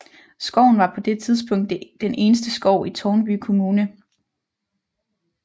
Skoven var på det tidspunkt den eneste skov i Tårnby Kommune